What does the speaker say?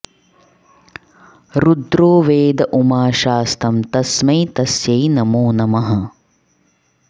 रुद्रो वेद उमा शास्तं तस्मै तस्यै नमो नमः